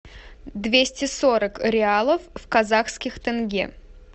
двести сорок реалов в казахских тенге